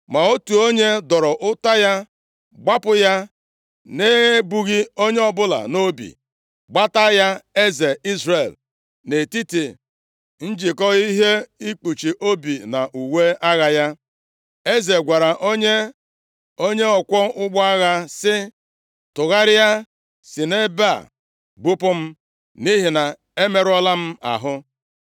Ma otu onye dọrọ ụta ya gbapụ ya na-ebughị onye ọbụla nʼobi, gbata ya eze Izrel nʼetiti njikọ ihe ikpuchi obi na uwe agha ya. Eze gwara onye ọkwọ ụgbọ agha, sị, “Tụgharịa, si nʼebe a bupụ m nʼihi na emerụọla m ahụ.”